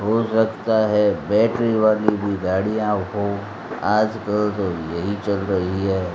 हो सकता है बैटरी वाली भी गाड़ियों को आजकल तो यही चल रही है।